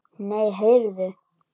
Nei, heyrðu.